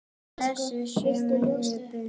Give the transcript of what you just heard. Blessuð sé minning Binnu.